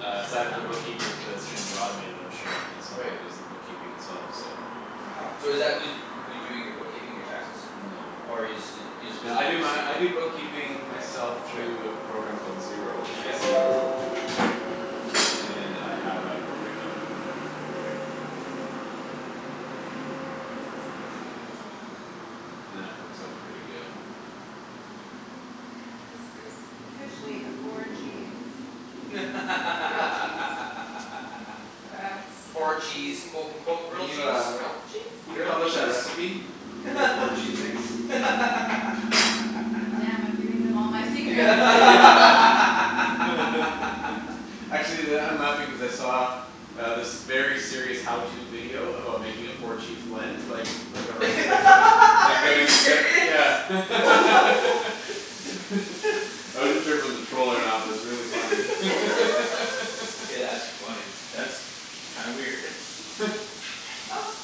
Uh I side for the dunno. bookkeepers but it's gonna be automated I'm sure at some Right. point is the bookkeeping itself so. Wow Mkay. so is that who's who's doing your bookkeeping your taxes? No. Or you just didn't you just No I visited do to my I do see? bookkeeping myself Right. through a program called Xero, x Yep. e r o. And I have a corporate account. Right. That works out pretty good. And this is officially a four cheese grilled cheese. That's Four cheese amazing. quote unquote Can grilled cheese? Grilled cheese? you Grilled publish a cheese? recipe? For your four cheese mix? God damn, I'm giving them all my secrets Actually that I'm laughing cuz I saw Um this very serious how to video about making a four cheese blend like like a restaurant or Are you serious? something I wasn't sure if it was a troll or not but it was really funny Hey that's funny. That's kinda weird.